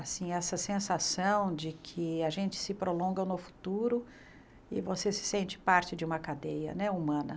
Assim, essa sensação de que a gente se prolonga no futuro e você se sente parte de uma cadeia né humana.